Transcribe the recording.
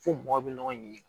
Fo mɔgɔw bɛ ɲɔgɔn ɲininka